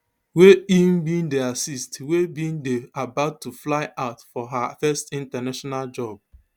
wey im bin dey assist wey bin dey about to fly out for her first international job